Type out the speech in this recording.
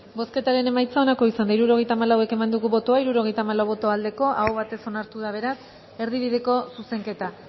bozketaren emaitza onako izan da hirurogeita hamalau eman dugu bozka hirurogeita hamalau boto aldekoa aho batez onartu da beraz erdibideko zuzenketa